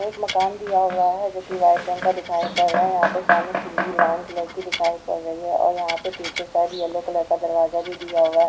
एक मकान दिया हुवा है जोकि व्हाइट रंग का दिखाई पड़ रहा है यह पे सामने सीडी ब्रावुन कलर की दिखाई पड़ रही है और यहापे पीछे शायद येल्लो कलर का दरवाजा भी दिया हुवा है।